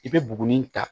I bɛ buguni ta